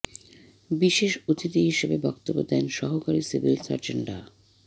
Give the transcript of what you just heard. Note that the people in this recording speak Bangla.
বিশেষ অতিথি হিসেবে বক্তব্য দেন সহকারী সিভিল সার্জন ডা